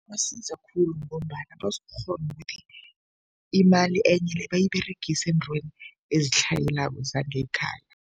Ibasiza khulu ngombana bazokukghona ukuthi imali enye le bayiberegise eentweni ezitlhayelako zangekhaya.